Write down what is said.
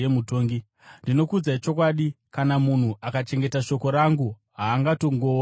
Ndinokuudzai chokwadi, kana munhu akachengeta shoko rangu, haangatongooni rufu.”